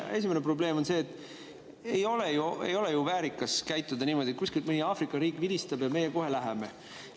Esimene probleem on see, et ei ole ju väärikas käituda niimoodi, et kuskilt mõni Aafrika riik vilistab ja meie kohe läheme.